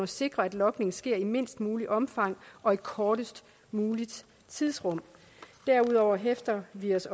sikre at logning sker i mindst muligt omfang og i kortest muligt tidsrum derudover hæfter vi os